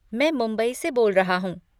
मैं मुंबई से बोल रहा हूँ।